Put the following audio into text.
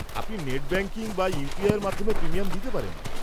আপনি net banking বা ইউপিআইয়ের মাধ্যমে প্রিমিয়াম দিতে পারেন।